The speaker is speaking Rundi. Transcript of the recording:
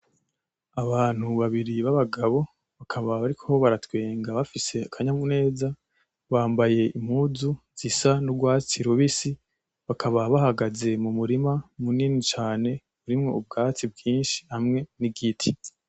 Abantu babiri b'abagabo bakaba bariko baratwenga bafise akanyabuneza, bambaye impuzu zisa n'urwatsi rubisi bakaba bahagaze mu murima munini cane urimwo ubwatsi bwinshi hamwe n'igiti.